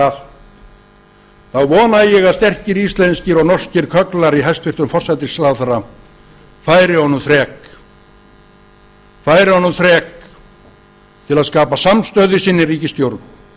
allt þá vona ég að sterkir íslenskir og norskir kögglar í hæstvirtur forsætisráðherra færi honum þrek færi honum þrek til að skapa samstöðu í sinni ríkisstjórn